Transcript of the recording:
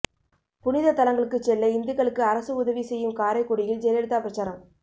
புனித தலங்களுக்குச் செல்ல இந்துக்களுக்கு அரசு உதவி செய்யும் காரைக்குடியில் ஜெயலலிதா பிரச்சாரம்